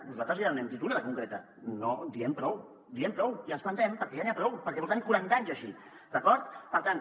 nosaltres ja n’hem dit una de concreta diem prou diem prou i ens plantem perquè ja n’hi ha prou perquè portem quaranta anys així d’acord per tant